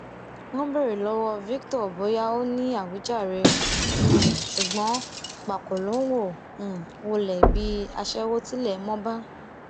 wọn béèrè lọwọ victor bóyá ó ní àwíjàre um ṣùgbọn pákò ló ń um wọlé bíi aṣẹwó tilẹ mọ bá